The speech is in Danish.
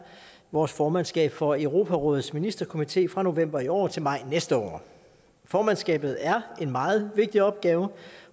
vores formandskab for europarådets ministerkomité fra november i år til maj næste år formandskabet er en meget vigtig opgave